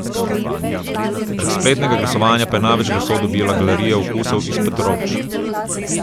Prek spletnega glasovanja pa je največ glasov dobila Galerija Okusov iz Petrovč.